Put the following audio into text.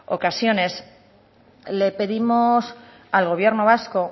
ocasiones le pedimos al gobierno vasco